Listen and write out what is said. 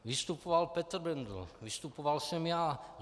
Vystupoval Petr Bendl, vystupoval jsem já.